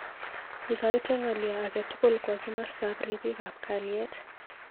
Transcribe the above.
Ikoite ng'alyo age tugul kwo kimosta ab ribik ab kaliet.